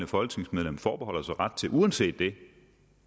folketingsmedlem forbeholder sig ret til uanset det